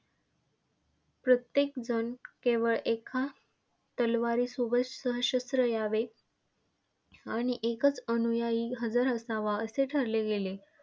प्रत्येकजण केवळ एका तलवारीसोबत सशस्त्र यावे आणि एकच अनुयायी हजर असावा असे ठरले गेले.